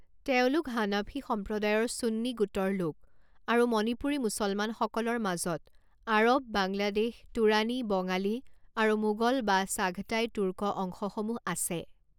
তেওঁলোক হানাফী সম্প্ৰদায়ৰ সুন্নী গোটৰ লোক, আৰু মণিপুৰী মুছলমানসকলৰ মাজত আৰৱ, বাংলাদেশ, তুৰানী, বঙালী আৰু মোগল বা চাঘতাই তুৰ্ক অংশসমূহ আছে।